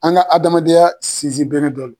An ka adamadenya sinsin bere dɔ lo